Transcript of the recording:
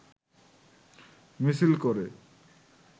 মিছিল করে